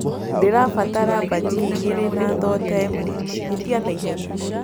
ndĩrabatara bhajiaĩgĩrĩ na thotaĩmweĩtĩa naĩhenya